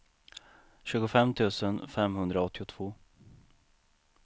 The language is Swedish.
tjugofem tusen femhundraåttiotvå